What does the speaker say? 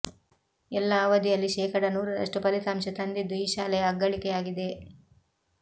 ಎಲ್ಲ ಅವಧಿಯಲ್ಲಿ ಶೇಕಡ ನೂರರಷ್ಟು ಫಲಿತಾಂಶ ತಂದಿದ್ದು ಈ ಶಾಲೆಯ ಅಗ್ಗಳಿಕೆಯಾಗಿದೆ